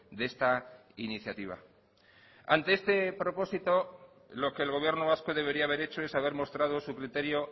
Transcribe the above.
de esta iniciativa ante este propósito lo que el gobierno vasco debería haber hecho es haber mostrado su criterio